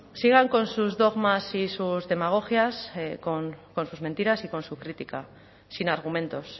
sigan con sus dogmas y sus demagogias con sus mentiras y con su crítica sin argumentos